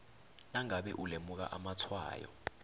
nangabe ulemuka amatshwayo